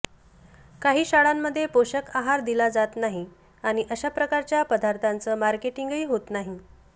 काही शाळांमध्ये पोषक आहार दिला जात नाही आणि अशा प्रकारच्या पदार्थांचं मार्केटिंगही होत नाही